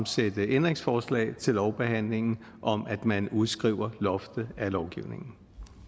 stille et ændringsforslag til lovbehandlingen om at man udskriver loftet af lovgivningen